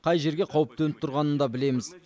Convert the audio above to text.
қай жерге қауіп төніп тұрғанын да білеміз